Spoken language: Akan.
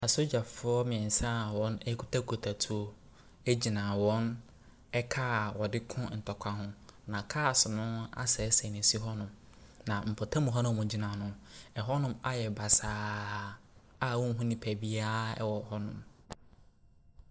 Asogyafoɔ mmieɛnsa a wɔkita tuo gyina wɔn car a wɔde ko ntɔkwa ho. Na cars no asɛesɛe na esi hɔnom. Na mpɔtam hɔ a wɔgyina hɔnom. Ɛhɔnom ayɛ basaa a wonhu nipa biara wɔ hɔnom.